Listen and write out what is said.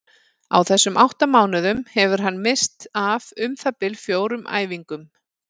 Á þessum átta mánuðum hefur hann misst af um það bil fjórum æfingum.